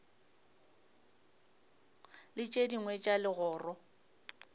le tše dingwe tša legoro